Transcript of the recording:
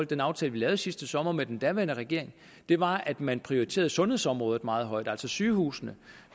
den aftale vi lavede sidste sommer med den daværende regering var at man prioriterede sundhedsområdet meget højt altså at sygehusene